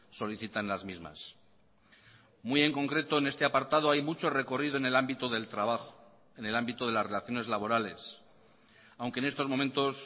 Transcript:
solicitan las mismas muy en concreto en este apartado hay mucho recorrido en el ámbito del trabajo en el ámbito de las relaciones laborales aunque en estos momentos